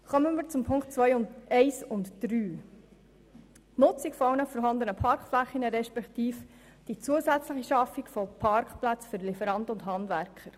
Kommen wir zu den Ziffern 1 und 3, der «Nutzung aller vorhandenen Parkflächen» respektive der zusätzlichen «Schaffung von Parkplätzen für Lieferanten und Handwerker».